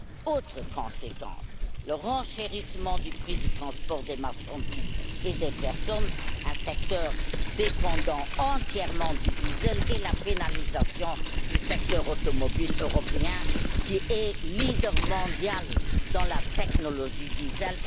Autre conséquence le renchérissement du prix du transport des marchandises et des personnes un secteur dépendant entièrement du diesel et la pénalisation du secteur automobile européen, qui est leader mondial dans la technologie diesel.